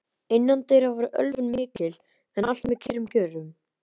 Innandyra var ölvun mikil, en allt með kyrrum kjörum.